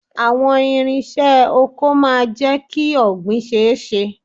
Àwọn irinṣẹ́ oko máa jẹ kí ọ̀gbìn ṣe ẹ́ ṣe.